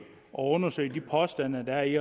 og undersøge de påstande der er i